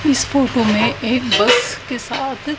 इस फोटो में एक बस के साथ--